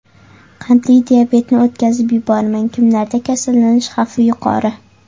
Qandli diabetni o‘tkazib yubormang: Kimlarda kasallanish xavfi yuqori?.